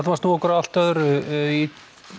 að snúa okkur að allt öðru í